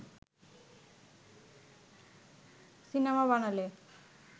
cinema বানালে